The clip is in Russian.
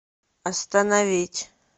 остановить